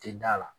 Tɛ da la